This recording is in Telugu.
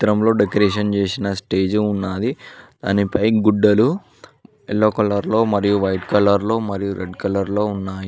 చిత్రంలో డెకొరేషన్ చేసిన స్టేజు ఉన్నాది దానిపై గుడ్డలు ఎల్లో కలర్ లో మరియు వైట్ కలర్ లో మరియు రెడ్ కలర్ లో ఉన్నాయి.